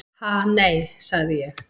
"""Ha, nei, sagði ég."""